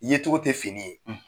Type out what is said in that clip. yecogo tɛ fini ye